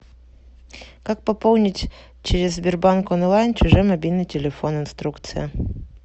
как пополнить через сбербанк онлайн чужой мобильный телефон инструкция